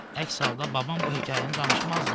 Əks halda babam bu hekayəni danışmazdı.